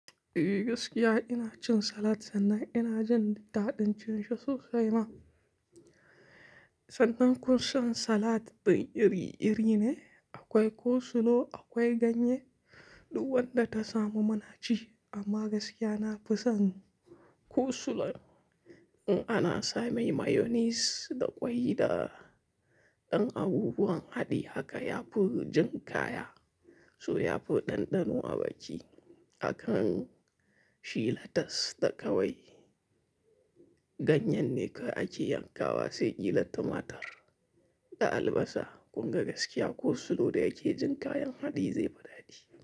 Eh gaskiya ina cin salad sannan ina jin ta dadin cinshi sosai ma. Sannan kun san salad din iri-iri ne, akwai cole slaw, akwai ganye, duk wanda ta samo muna ci. Amma gaskiya na fi son coleslaw. In ana same mayonnaise da ƙwai da, ɗan abubuwan haɗi haka ya fi jin kaya, so ya fi ɗanɗano a baki. Hakan, shi letas da ƙawai, ganyen ne dai kawai ake yankawa sai kila tomatar da albasa. Kun ga gaskiya coleslaw da yake jin kayan haɗi zai fi daɗi.